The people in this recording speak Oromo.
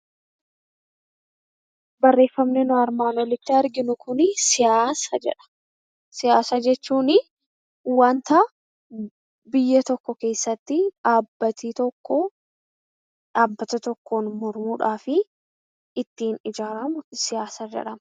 Barreeffamni nuti asii gaditti arginu Kun siyaasa jedha. Siyaasa jechuun wanta biyya tokko keessatti dhaabbanni tokko dhaabbata tokko ittiin ijaaramu siyaasa jedhama .